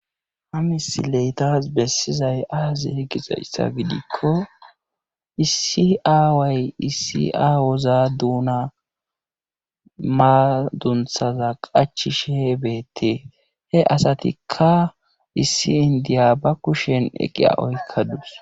Ha misile tas besizay aazee gizayssa gidikko issi aaway issi awaza duuna madunthaza qachishe beetees. he asatikka issi issi inddiya ba kushen iqiya oyqadus.